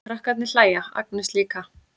Krakkarnir hlæja, Agnes líka.